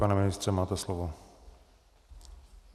Pane ministře, máte slovo.